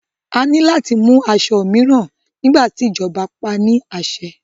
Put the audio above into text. A ní láti mú aṣọ mìíràn nígbà tí ìjọba paá ní àṣẹ.